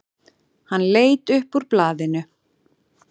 Hann leit upp úr blaðinu.